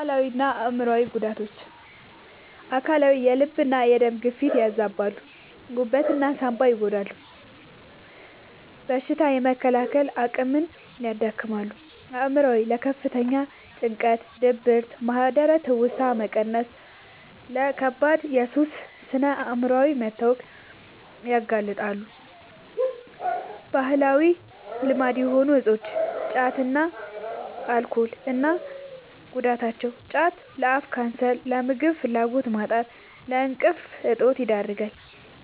አካላዊና አእምሯዊ ጉዳቶች፦ አካላዊ፦ የልብና የደም ግፊትን ያዛባሉ፣ ጉበትና ሳንባን ይጎዳሉ፣ በሽታ የመከላከል አቅምን ያዳክማሉ። አእምሯዊ፦ ለከፍተኛ ጭንቀት፣ ድብርት፣ ማህደረ-ትውስታ መቀነስና ለከባድ የሱስ ስነ-አእምሯዊ መታወክ ያጋልጣሉ። ባህላዊ ልማድ የሆኑ እፆች (ጫትና አልኮል) እና ጉዳታቸው፦ ጫት፦ ለአፍ ካንሰር፣ ለምግብ ፍላጎት ማጣትና ለእንቅልፍ እጦት ይዳርጋል።